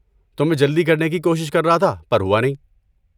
تو میں جلدی کرنے کی کوشش کر رہا تھا پر ہوا نہیں۔